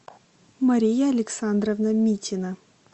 мария александровна митина